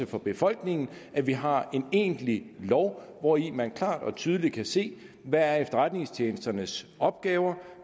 for befolkningen at vi har en egentlig lov hvori man klart og tydeligt kan se hvad efterretningstjenesternes opgaver